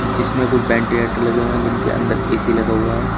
जिसमें कुछ वेंटीलेटर लगे हुए हैं जिनके अंदर ए_सी लगा हुआ है।